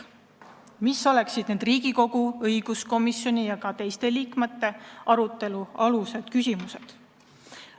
Mis oleksid need küsimused, mida peaks Riigikogu õiguskomisjonis ja mujal arutama?